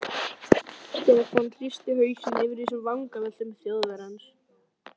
Stefán hristi hausinn yfir þessum vangaveltum Þjóðverjans.